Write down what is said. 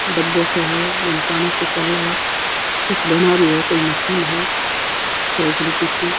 डब्बो सो है बीमे पानी सो चाले है कुछ बना रही है कोई मशीन है चौकड़ी की सी --